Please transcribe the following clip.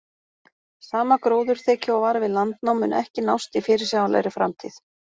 Sama gróðurþekja og var við landnám mun ekki nást í fyrirsjáanlegri framtíð.